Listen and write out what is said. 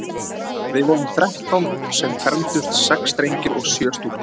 Við vorum þrettán sem fermdumst, sex drengir og sjö stúlkur.